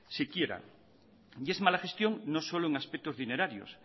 siquiera y es mala gestión no solo en aspectos dinerarios